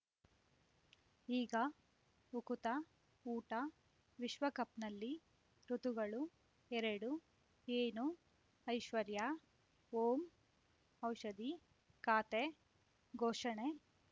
ಈಗ ಉಕುತ ಊಟ ವಿಶ್ವಕಪ್‌ನಲ್ಲಿ ಋತುಗಳು ಎರಡು ಏನು ಐಶ್ವರ್ಯಾ ಓಂ ಔಷಧಿ ಖಾತೆ ಘೋಷಣೆ